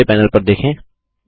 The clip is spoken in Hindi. निचले पैनल पर देखें